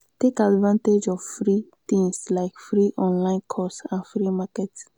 take advantage of free things like free online course and free marketing